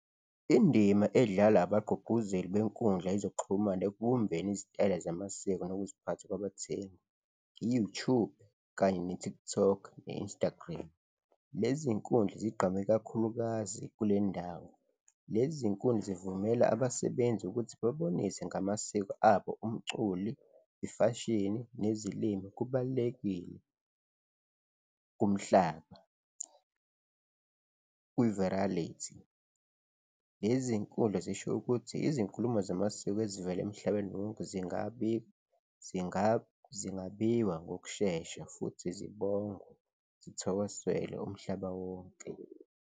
Indima edlalwa abagqugquzeli benkundla yezokuxhumana ekubumbeni izitayela zamasiko nokuziphatha kwabathengi, i-YouTube kanye ne-TikTok ne-Instagram, lezi zinkundla zigqhame kakhulukazi kule ndawo. Lezi zinkundla zivumela abasebenzi ukuthi bebonise ngamasiko abo, umculi, ifashini nezilimi kubalulekile kumhlaba kwi-varality. Lezi zinkundla zisho ukuthi izinkulumo zamasiko ezivela emhlabeni wonke zingabi, zingabiwa ngokushesha futhi zithokozelwe umhlaba wonke.